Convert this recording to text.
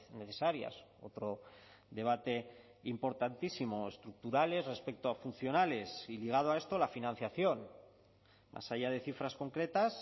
necesarias otro debate importantísimo estructurales respecto a funcionales y ligado a esto la financiación más allá de cifras concretas